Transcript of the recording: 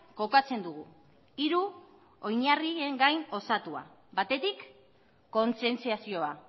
kokatzen dugu hiru oinarrien gain osatua batetik kontzientziazioa